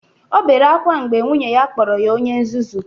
O bere ákwá mgbe nwunye ya kpọrọ ya onye nzuzu